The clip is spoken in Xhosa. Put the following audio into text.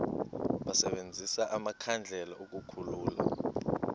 basebenzise amakhandlela ukukhulula